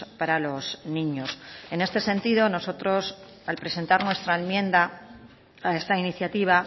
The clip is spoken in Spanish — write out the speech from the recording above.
para los niños en este sentido nosotros al presentar nuestra enmienda a esta iniciativa